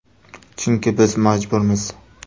Chunki biz majburmiz.